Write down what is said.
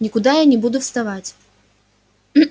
никуда я не буду вставать